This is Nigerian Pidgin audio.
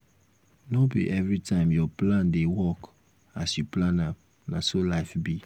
no be everytime your plan dey work as you plan am na so life be